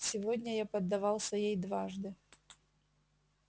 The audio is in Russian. сегодня я поддавался ей дважды